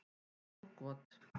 Stór got